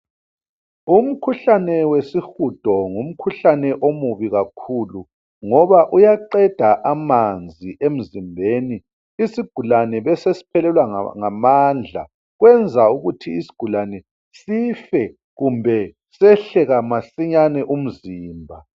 Umkhuhlane wesihudo ngumkhuhlane omubi kakhulu ngoba uyaqeda amanzi emzimbeni , isigulane besesiphelelwa ngamandla , kwenza ukuthi isigulane sife kumbe sehle masinyane umzimba